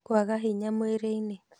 Kwaga hinya mwĩrĩinĩ